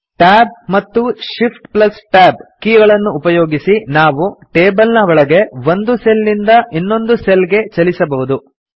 Tab ಮತ್ತು ShiftTab ಕೀಗಳನ್ನುಉಪಯೋಗಿಸಿ ನಾವು ಟೇಬಲ್ ನ ಒಳಗೆ ಒಂದು ಸೆಲ್ ನಿಂದ ಇನ್ನೊಂದು ಸೆಲ್ ಗೆ ಚಲಿಸಬಹುದು